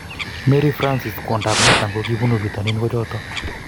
Mary Francis kwondop Nathan kokipunu pitonin ko choto